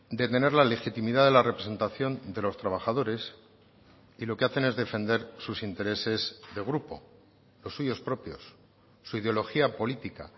de tener la legitimidad de la representación de los trabajadores y lo que hacen es defender sus intereses de grupo los suyos propios su ideología política